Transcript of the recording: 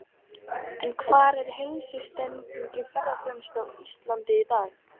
En hvar er heilsutengd ferðaþjónusta á Íslandi í dag?